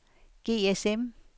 GSM